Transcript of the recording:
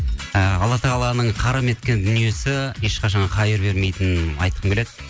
ы алла тағаланың харам еткен дүниесі ешқашан хайыр бермейтінін айтқым келеді